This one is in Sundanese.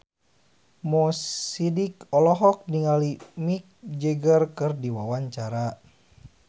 Mo Sidik olohok ningali Mick Jagger keur diwawancara